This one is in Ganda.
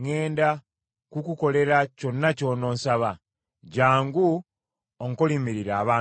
ŋŋenda kukukolera kyonna ky’ononsaba. Jjangu onkoliimiririre abantu bano.’ ”